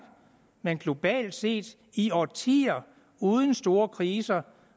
men globalt set i årtier uden store kriser